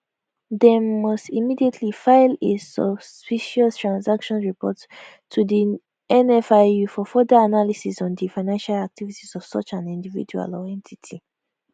dem must immediately file a suspicious transactions report to di nfiu for further analysis on di financial activities of such an individual or entity